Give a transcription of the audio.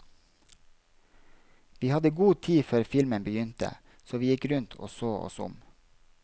Vi hadde god tid før filmen begynte, så vi gikk rundt og så oss om.